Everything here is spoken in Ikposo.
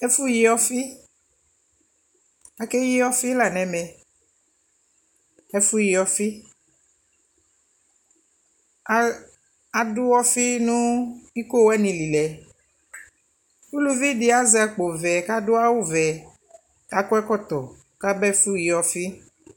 Ɛfu yi ɔfi, akeyi ɔfi la nʋ ɛmɛ Ɛfu yi ɔfi, adʋ ɔfi nʋ ikoo wani lι lɛ Uluvi dι adʋ awu vɛ kʋ azɛ akpo vɛ Akɔ ɛkɔtɔ kʋ aba ɛfʋ yi ɔfi